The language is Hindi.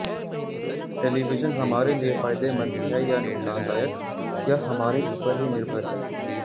टेलीविजन हमारे लिए फायदेमंद है या नुकसानदायक यह हमारे ऊपर ही निर्भर है